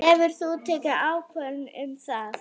Hefurðu tekið ákvörðun um það?